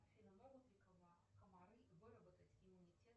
афина могут ли комары выработать иммунитет